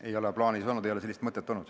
Ei ole plaanis olnud, sellist mõtet ei ole olnud.